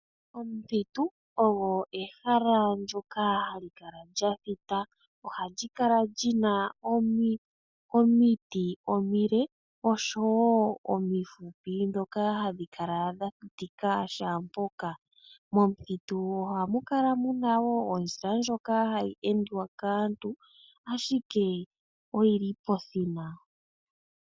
Omuthitu ogo ehala ndyoka hali kala lya thita. Ohali kala li na omiti omile, oshowo omifupi ndhoka hadhi kala dha thitika shaampoka. Momuthitu ohamu kala ondjila ndjoka hayi endwa kaantu, ashike oyi li pekota.